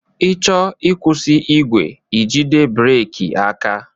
I chọọ ịkwụsị igwe, ijide breki aka.